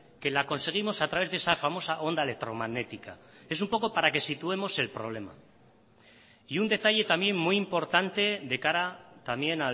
que la conseguimos a través de esa famosa onda electromagnética es un poco para que situemos el problema y un detalle también muy importante de cara también